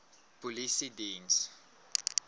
polisiediens